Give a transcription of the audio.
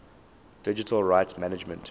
digital rights management